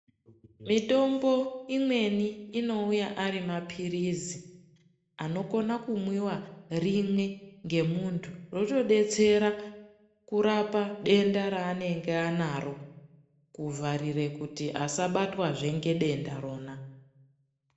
Mitombo imweni inouya ari mapirizi anokona kumwiwa rimwe ngemuntu zvotodetsera kurapa denda raanenge anaro kuvharire kuti asabatwazve ngedenda rona.